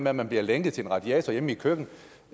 at man bliver lænket til en radiator hjemme i et køkken